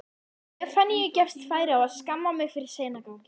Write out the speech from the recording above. Stefaníu gefst færi á að skamma mig fyrir seinaganginn.